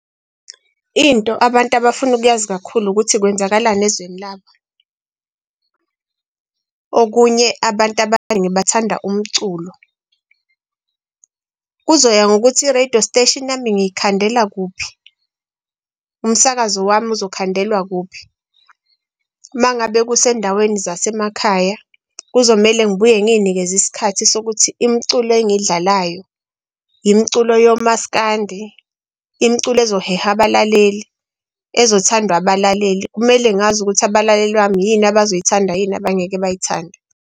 Into abantu abafuna ukuyazi kakhulu ukuthi kwenzakalani ezweni labo. Okunye abantu abaningi bathanda umculo kuzoya ngokuthi i-radio station yami, ngiyikhandela kuphi umsakazo wami uzokhandelwa kuphi. Uma ngabe kusezindaweni zasemakhaya. Kuzomele ngibuye ngiyinikeze isikhathi sokuthi, imiculo engiyidlalayo imiculo yoMaskandi, imiculo ezoheha abalaleli ezothandwa abalaleli. Kumele ngazi ukuthi abalaleli bami yini abazoyithanda yini abangeke bayithande.